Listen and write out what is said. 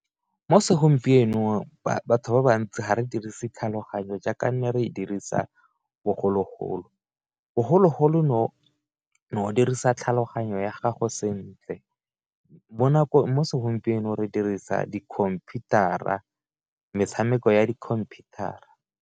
Mo segompienong batho ba bantsi ga re dirise tlhaloganyo jaaka nne re dirisa bogologolo, bogologolo o no o dirisa tlhaloganyo ya gago sentle, mo segompieno re dirisa di computer-a metshameko ya di computer-a.